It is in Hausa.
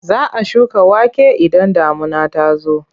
Za a shuka wake idan damuna ta zo.